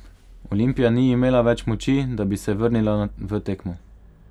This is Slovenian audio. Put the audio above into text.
Olimpija ni imela več moči, da bi se vrnila v tekmo.